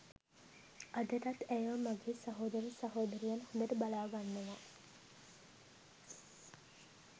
අදටත් ඇයව මගේ සහෝදර සහෝදරියන් හොඳට බලා ගන්නවා